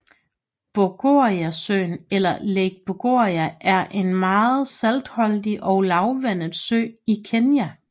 Bogoriasøen eller Lake Bogoria er en meget saltholdig og lavvandet sø i Kenya